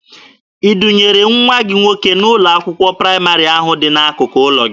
I dunyere nwa gị nwoke n'ụlọ akwụkwọ praịmarị ahụ dị n'akụkụ ụlọ gị?